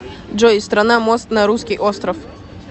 джой страна мост на русский остров